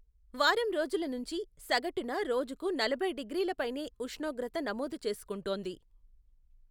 వారం రోజుల నుంచి, సగటున రోజుకు నలభై డిగ్రీల పైనే ఉష్ణోగ్రత నమోదు చేసుకుంటోంది.